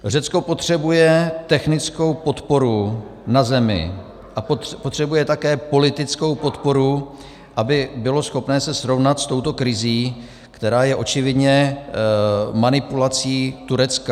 Řecko potřebuje technickou podporu na zemi a potřebuje také politickou podporu, aby bylo schopné se srovnat s touto krizí, která je očividně manipulací Turecka.